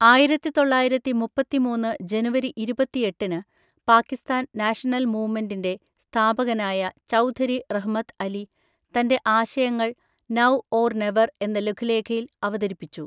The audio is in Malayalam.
ആയിരത്തിതൊള്ളയിരത്തിമുപ്പത്തിമൂന്ന് ജനുവരി ഇരുപത്തിഎട്ടിന് പാക്കിസ്ഥാൻ നാഷണൽ മൂവ്മെന്റിൻ്റെ സ്ഥാപകനായ ചൗധരി റഹ്മത്ത് അലി തൻ്റെ ആശയങ്ങൾ നൗ ഓർ നെവർ എന്ന ലഘുലേഖയിൽ അവതരിപ്പിച്ചു.